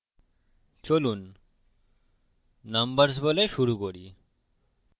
চলুন নম্বরর্স বলে শুরু করি